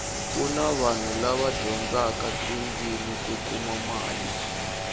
kuni vanhu lava dyindaka tindzimi ku kuma mali